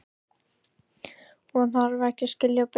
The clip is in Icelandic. Og þarf ekki að skilja betur.